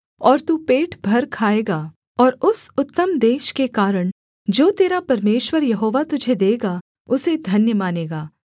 और तू पेट भर खाएगा और उस उत्तम देश के कारण जो तेरा परमेश्वर यहोवा तुझे देगा उसे धन्य मानेगा